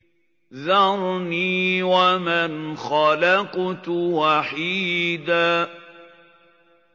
ذَرْنِي وَمَنْ خَلَقْتُ وَحِيدًا